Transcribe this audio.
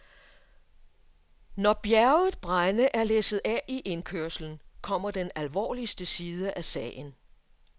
Når bjerget brænde er læsset af i indkørslen, kommer den alvorligste side af sagen.